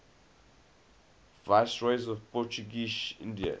viceroys of portuguese india